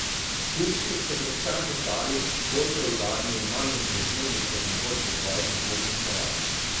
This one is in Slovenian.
Kupci so predvsem postali bolj preudarni in manj impulzivni kot nekoč v svojih nakupnih navadah.